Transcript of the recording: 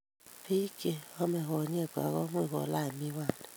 Biik che namei konyekwa komuchi kolaach miwani